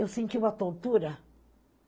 Eu senti uma tontura.